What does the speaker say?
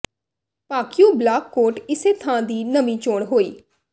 ਭਾਕਿਯੂ block Kot Ise Khan ਦੀ ਨਵੀਂ ਚੋਣ ਹੋਈ